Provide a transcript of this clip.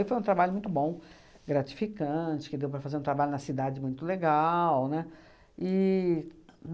foi um trabalho muito bom, gratificante, que deu para fazer um trabalho na cidade muito legal, né. E